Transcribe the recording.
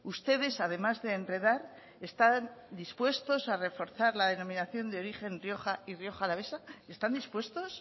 ustedes además de enredar están dispuestos a reforzar la denominación de origen rioja y rioja alavesa están dispuestos